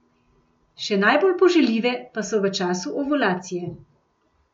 Še najbolj poželjive pa so v času ovulacije.